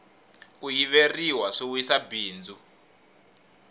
ku yiveriwa swi wisa bindzu